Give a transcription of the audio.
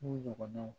N'o ɲɔgɔnnaw